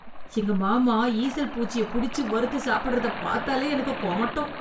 எங்க மாமா ஈசல் பூச்சிய புடிச்சு வறுத்து சாப்பிடறத பாத்தாலே எனக்கு கொமட்டும்.